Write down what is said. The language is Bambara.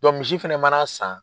misi fɛnɛ mana san